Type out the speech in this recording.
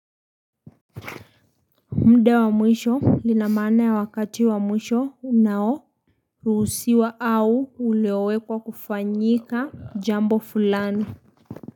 Muda wa mwisho lina maana ya wakati wa mwisho unaoruhusiwa au uliowekwa kufanyika jambo fulani.